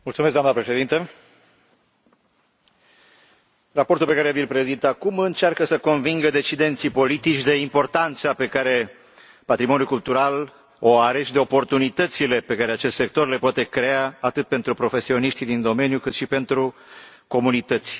Doamnă Președintă, raportul pe care vi l prezint acum încearcă să convingă decidenții politici de importanța pe care o are patrimoniul cultural și de oportunitățile pe care acest sector le poate crea atât pentru profesioniștii din domeniu, cât și pentru comunități.